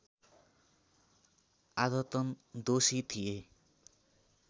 आदतन दोषी थिए